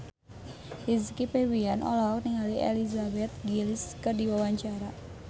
Rizky Febian olohok ningali Elizabeth Gillies keur diwawancara